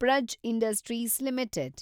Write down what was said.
Praj industries limited